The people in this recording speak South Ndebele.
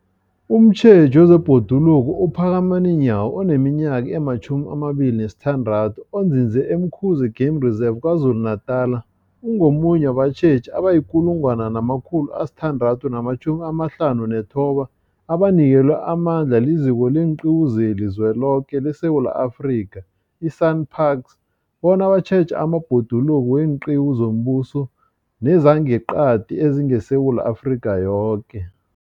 Umtjheji wezeBhoduluko uPhakamani Nyawo oneminyaka ema-26, onzinze e-Umkhuze Game Reserve KwaZulu-Natala, ungomunye wabatjheji abayi-1 659 abanikelwe amandla liZiko leenQiwu zeliZweloke leSewula Afrika, i-SANParks, bona batjheje amabhoduluko weenqiwu zombuso nezangeqadi ezingeSewula Afrika yoke.